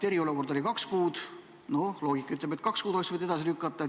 Eriolukord oli kaks kuud ja loogika ütleb, et kaks kuud oleks võinud edasi lükata.